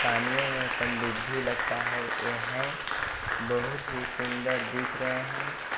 पानीयों मे पनडुब्भी लगता है यहे बहुत ही सुंदर दिख रहा है।